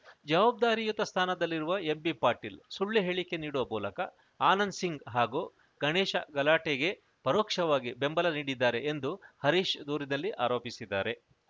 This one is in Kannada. ಜವಾಬ್ಧಾರಿಯುತ ಸ್ಥಾನದಲ್ಲಿರುವ ಎಂಬಿಪಾಟೀಲ್‌ ಸುಳ್ಳು ಹೇಳಿಕೆ ನೀಡುವ ಮೂಲಕ ಆನಂದ್‌ ಸಿಂಗ್‌ ಹಾಗೂ ಗಣೇಶ ಗಲಾಟೆಗೆ ಪರೋಕ್ಷವಾಗಿ ಬೆಂಬಲ ನೀಡಿದ್ದಾರೆ ಎಂದು ಹರೀಶ್‌ ದೂರಿನಲ್ಲಿ ಆರೋಪಿಸಿದ್ದಾರೆ